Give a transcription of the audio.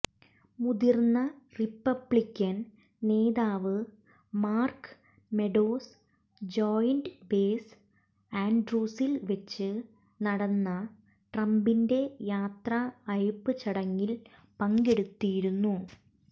മുതിർന്ന റിപ്പബ്ലിക്കൻ നേതാവ് Mark Meadows joint base ആൻഡ്രൂസിൽ വെച്ച് നടന്ന ട്രംപിന്റെ യാത്ര അയപ്പ് ചടങ്ങിൽ പങ്കെടുത്തിരുന്നു